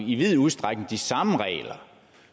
i vid udstrækning de samme regler